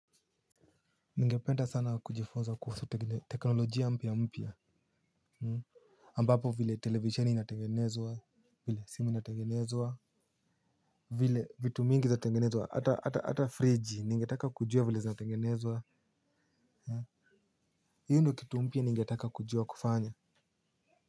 Ningependa sana kujifunza kuhusu teknologia mpya mpya ambapo vile televisheni inatengenezwa, vile simu inatengenezwa, vile vitu mingi za tengenezwa hata friji ningetala kujua vile zina tengenezwa. Hio ndo kitu mpya ningetaka kujua kufanya.